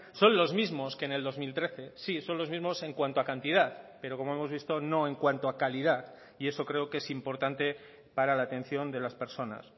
son los mismos que en el dos mil trece sí son los mismos en cuanto a cantidad pero como hemos visto no en cuanto a calidad y eso creo que es importante para la atención de las personas